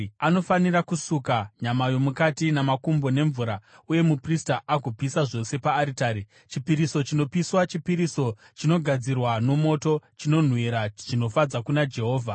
Anofanira kusuka nyama yomukati namakumbo nemvura, uye muprista agopisa zvose paaritari. Chipiriso chinopiswa, chipiriso chinogadzirwa nomoto, chinonhuhwira zvinofadza kuna Jehovha.